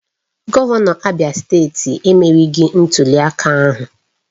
Gọvanọ Abia steeti emerieghị ntuliaka ahụ